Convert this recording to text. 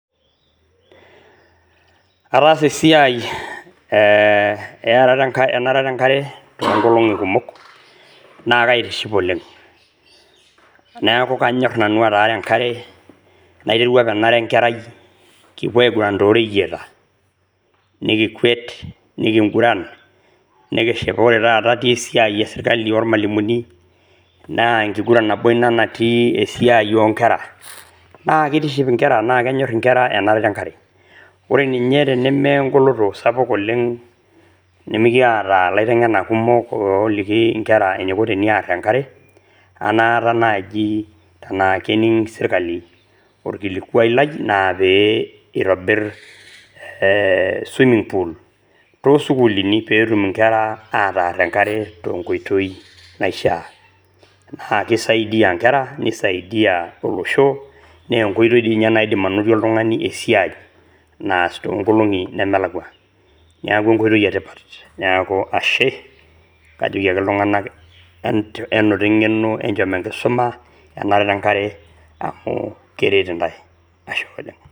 Ataasa esiaai eang'ata enkare te inkolongi kumok na kaitiship oleng, neaku kanyorr nanu ataang'a inkare naiterrua nanu ara inkerrai kipo aiguran too reyeita nikikwuet nikinguran nikishapa ore taata te esiaai oserikali ormwalumuni naa enkiduran nabo inia natii esiaai oonkerra, naa keitiship inkerra naa kenyorr inkerra enang'ata enkare, ore ninye tenemee engoloto sapuk oleng nimikieta laiteng'enak kumok ooliki inkerra eneiko tenearr inkare anaata naaji tanaa kening' isirikali irkilikuai lai naa peeitobir swimming pool too sukulini peetum inkerra ataarr inkare te nkoitoi naishaa, naa keisadia inkerra neisaidiya olosho naa enkoitoi ninye naidim anotie oltungani esiaai naas tonkolong'i nemelakwa ,neaku enkoitoi etipat naaku ashe kajoki ltunganak enoto eng'eno, enchom enkisuma enarata enkare amu keret intae, ashe oleng.